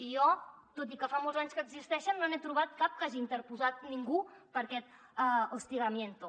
i jo tot i que fa molts anys que existeixen no n’he trobat cap que hagi interposat ningú per aquest hostigamiento